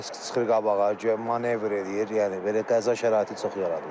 Risk çıxır qabağa, guya manevr eləyir, yəni belə qəza şəraiti çox yaradılır.